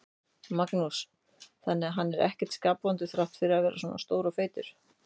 Magnús: Þannig að hann er ekkert skapvondur þrátt fyrir að vera svona stór og feitur?